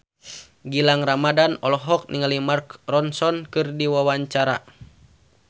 Gilang Ramadan olohok ningali Mark Ronson keur diwawancara